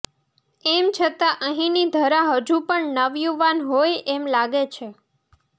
એમ છતાં અહીંની ધરા હજુ પણ નવયુવાન હોય એમ લાગે છે